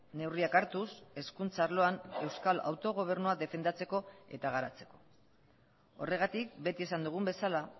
neurriak hartuz hezkuntza arloan euskal autogobernua defendatzeko eta garatzeko horregatik beti esan dugun bezala